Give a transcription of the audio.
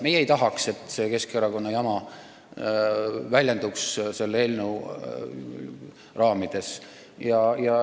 Meie ei taha, et see Keskerakonna jama väljenduks selles eelnõus.